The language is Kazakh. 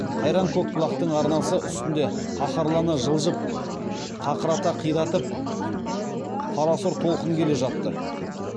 қайран көкбұлақтың арнасы үстінде қаһарлана жылжып қақырата қиратып қарасұр толқын келе жатты